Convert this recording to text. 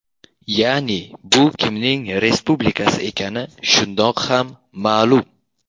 Ya’ni bu kimning respublikasi ekani shundoq ham ma’lum.